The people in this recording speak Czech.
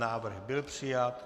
Návrh byl přijat.